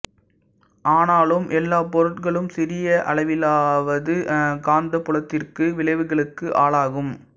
ஆனாலும் எல்லாப் பொருட்களும் சிறிய அளவிலாவது காந்தப்புலத்திற்கு விளைவுகளுக்கு ஆளாகும்